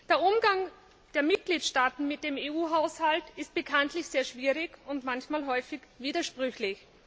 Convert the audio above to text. Der Umgang der Mitgliedstaaten mit dem EU Haushalt ist bekanntlich sehr schwierig und häufig widersprüchlich.